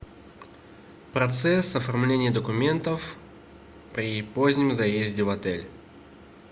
процесс оформления документов при позднем заезде в отель